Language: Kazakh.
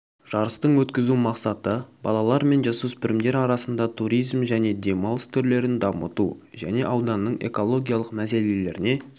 жарыстың өткізу мақсаты балалар мен жасөспірімдер арасында туризм және демалыс түрлерін дамыту және ауданның экологиялық мәселелеріне